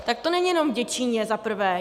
Tak to není jenom v Děčíně, za prvé.